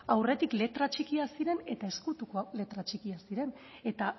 aurretik letra txikia ziren eta ezkutuko letra txikiak ziren eta